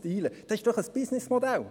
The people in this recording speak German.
Das ist doch ein BusinessModell!